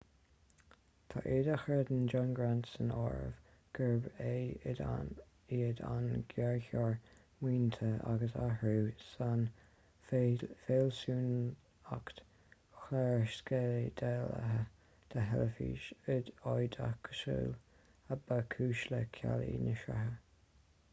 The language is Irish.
tá iad a chreideann john grant san áireamh gurbh iad an géarchor maoinithe agus athrú san fhealsúnacht chlársceidealaithe de theilifís oideachasúil a ba chúis le cealú na sraithe